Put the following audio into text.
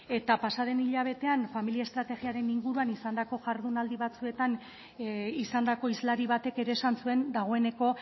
eta pasa den hilabetean familia estrategiaren inguruan izandako jardunaldi batzuetan izandako hizlari batek ere esan zuen dagoeneko